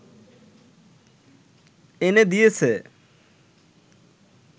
এনে দিয়েছে